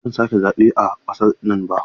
Ba zan sake zaɓe a ƙasar nan ba.